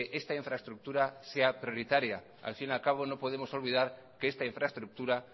esta infraestructura sea prioritaria al fin y al cabo no podemos olvidar que esta infraestructura